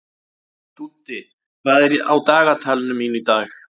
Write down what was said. Dúddi, hvað er á dagatalinu mínu í dag?